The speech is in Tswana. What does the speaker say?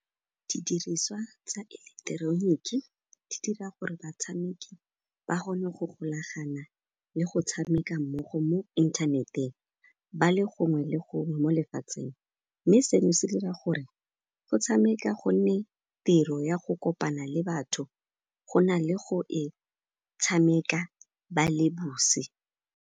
Didiriswa tsa eleketeroniki di dira gore batshameki ba kgone go golagana le go tshameka mmogo mo inthaneteng ba le gongwe le gongwe mo lefatsheng, mme seno se dira gore go tshameka gonne tiro ya go kopana le batho go na le go e tshameka ba le .